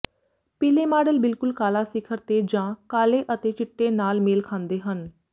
ਪੀਲੇ ਮਾਡਲ ਬਿਲਕੁਲ ਕਾਲਾ ਸਿਖਰ ਤੇ ਜਾਂ ਕਾਲੇ ਅਤੇ ਚਿੱਟੇ ਨਾਲ ਮੇਲ ਖਾਂਦੇ ਹਨ